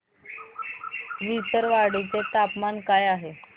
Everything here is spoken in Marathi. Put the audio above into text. विसरवाडी चे तापमान काय आहे